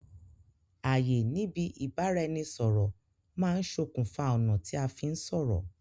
àyè níbi ìbáraẹnisọ̀rọ̀ má ń sokùn fa ọ̀nà tí a fí ń sọ̀rọ̀